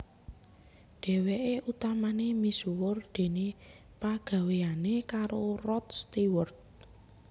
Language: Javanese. Dhèwèké utamané misuwur déné pagawéyané karo Rod Stewart